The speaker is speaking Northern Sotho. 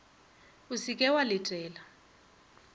o se ke wa letela